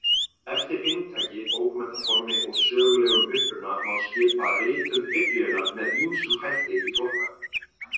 Eftir inntaki, bókmenntaformi og sögulegum uppruna má skipa ritum Biblíunnar með ýmsum hætti í flokka.